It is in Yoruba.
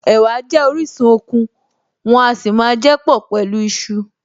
Ẹ̀wà jẹ́ orísun okun, wọ́n a sì máa jẹ́ pọ̀ pẹ̀lú iṣu